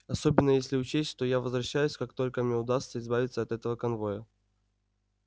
особенно если учесть что я возвращаюсь как только мне удастся избавиться от этого конвоя